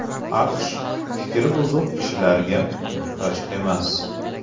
AQSh fikri buzuq kishilarga muhtoj emas.